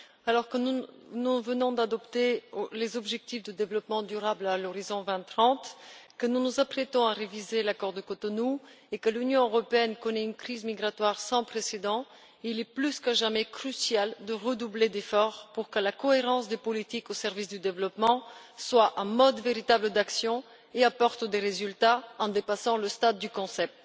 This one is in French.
Alors que nous venons d'adopter les objectifs de développement durable à l'horizon 2030, que nous nous apprêtons à réviser l'accord de Cotonou et que l'Union européenne connaît une crise migratoire sans précédent, il est plus que jamais crucial de redoubler d'efforts pour que la cohérence des politiques au service du développement devienne un véritable mode d'action et apporte des résultats en dépassant le stade du concept.